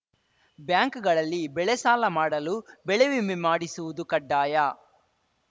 ಬ್ಯಾಂಕ್‌ಗಳಲ್ಲಿ ಬೆಳೆ ಸಾಲ ಮಾಡಲು ಬೆಳೆ ವಿಮೆ ಮಾಡಿಸುವುದು ಕಡ್ಡಾಯ